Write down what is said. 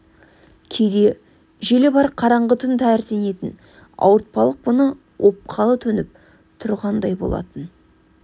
кейде желі бар қараңғы түн тәрізденетін ауыртпалық бұны опқалы төніп тұрғандай болатын